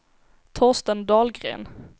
Torsten Dahlgren